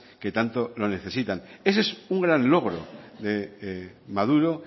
que tanto lo necesitan ese es un gran logro de maduro